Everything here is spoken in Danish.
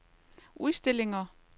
udstillinger